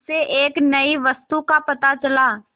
उसे एक नई वस्तु का पता चला